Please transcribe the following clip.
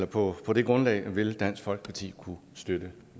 på på det grundlag vil dansk folkeparti kunne støtte